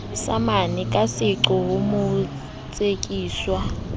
samane ka seqo ho motsekiswa